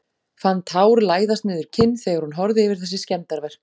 Fann tár læðast niður kinn þegar hún horfði yfir þessi skemmdarverk.